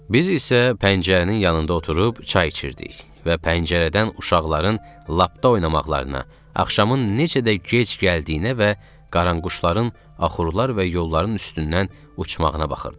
Biz isə pəncərənin yanında oturub çay içirdik və pəncərədən uşaqların lapda oynamaqlarına, axşamın necə də gec gəldiyinə və qaranquşların axurlar və yolların üstündən uçmağına baxırdıq.